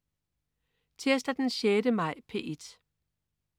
Tirsdag den 6. maj - P1: